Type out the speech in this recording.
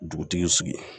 Dugutigi sigi